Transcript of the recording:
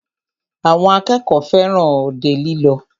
Àwọn akẹ́kọ̀ọ́ fẹràn òde lílọ.